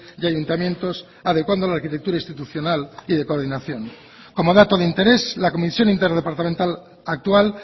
y ayuntamientos adecuando la arquitectura institucional y de coordinación como dato de interés la comisión interdepartamental actual